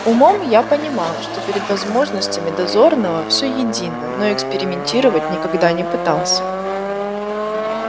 умом я понимал что перед возможностями дозорного всё едино но экспериментировать никогда не пытался